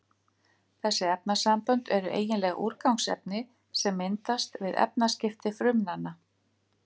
Þessi efnasambönd eru eiginlega úrgangsefni sem myndast við efnaskipti frumnanna.